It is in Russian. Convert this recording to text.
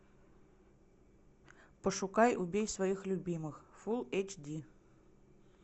пошукай убей своих любимых фул эйч ди